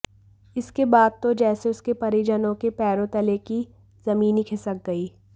इसके बाद तो जैसे उसके परिजनों के पैरों तले की जमीन ही खिसक गई